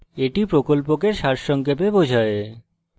এটি প্রকল্পকে সারসংক্ষেপে বোঝায়